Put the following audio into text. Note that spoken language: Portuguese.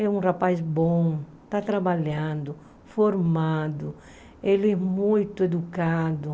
É um rapaz bom, está trabalhando, formado, ele é muito educado.